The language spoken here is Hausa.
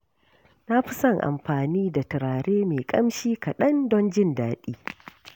Na fi son amfani da turare mai ƙamshi kaɗan don jin daɗi.